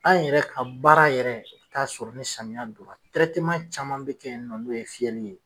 An yɛrɛ ka baara yɛrɛ i bi taa sɔrɔ ni samiya don na caman bɛ kɛ yen nɔ n'o ye fiyɛli ye.